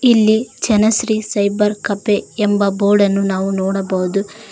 ಇಲ್ಲಿ Janashree cyber cafe ಎಂಬ ಬೋರ್ಡನ್ನು ನಾವು ನೋಡಬಹುದು.